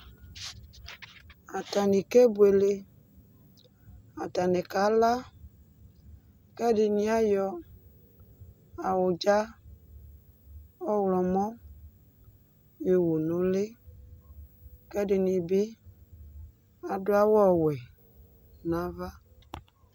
Atanɩ kebʋele, atanɩ kala, kʋ ɛdɩnɩ ayɔ awʋdza ɔɣlɔmɔ yowʋ nʋ ʋlɩ, kʋ ɛdɩnɩ bɩ adʋ awʋ ɔwɛ nʋ ava